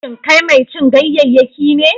Shin kai mai cin ganyayyaki ne?